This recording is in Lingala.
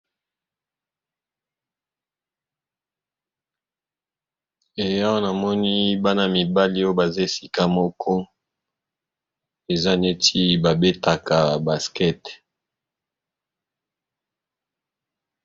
E awa namoni bana mibale oyo baza esika moko eza neti ba betaka baskete.